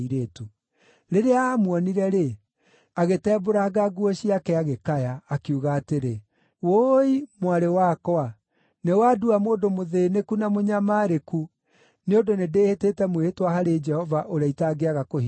Rĩrĩa aamuonire-rĩ, agĩtembũranga nguo ciake agĩkaya, akiuga atĩrĩ, “Ũũi! Mwarĩ wakwa! Nĩwandua mũndũ mũthĩĩnĩku na mũnyamarĩku nĩ ũndũ nĩndĩhĩtĩte mwĩhĩtwa harĩ Jehova ũrĩa itangĩaga kũhingia.”